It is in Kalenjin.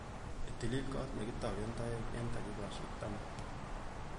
Itilil kot nekitoken toek eng dakikaishek taman